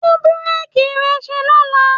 Tún búréèkì rẹ ṣe lọ́la.